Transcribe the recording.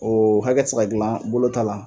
O hakɛ tɛ se ka gilan bolo ta la.